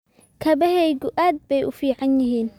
Kabahaagu aad bay u fiican yihiin